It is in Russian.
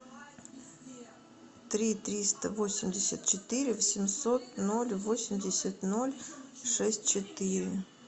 три триста восемьдесят четыре восемьсот ноль восемьдесят ноль шесть четыре